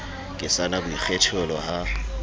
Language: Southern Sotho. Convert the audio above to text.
ke sa na boikgethelo ha